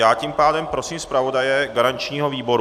Já tím pádem prosím zpravodaje garančního výboru.